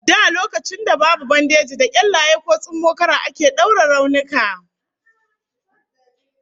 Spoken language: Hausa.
Da lokacin da babu bandeji, da kyallaye ko tsummokara ake daure raunuka